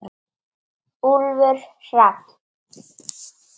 Úlfur Hrafn.